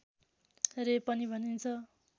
रे पनि भनिन्छ